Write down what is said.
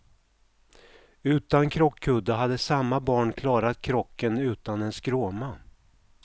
Utan krockkudde hade samma barn klarat krocken utan en skråma.